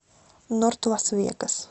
норт лас вегас